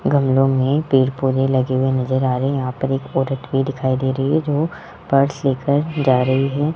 गमलों में पेड़ पौधे लगे हुए नज़र आ रहे यहां पर एक औरत भी दिखाई दे रही है जो पर्स लेकर जा रही है।